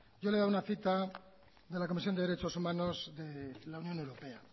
yo le he dado una cita de la comisión de derechos humanos de la unión europea